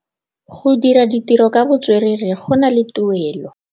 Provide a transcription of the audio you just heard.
Go dira ditirô ka botswerere go na le tuelô.